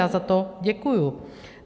Já za to děkuju.